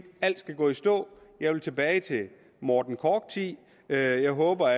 alt skal gå i stå jeg vil tilbage til morten korch tiden jeg håber